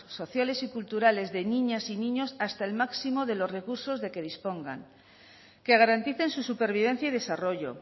sociales y culturales de niñas y niños hasta el máximo de los recursos de que dispongan que garanticen su supervivencia y desarrollo